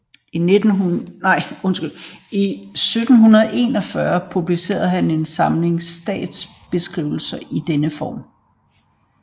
I 1741 publicerede han en samling statsbeskrivelser i denne form